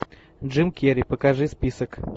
джим кери покажи список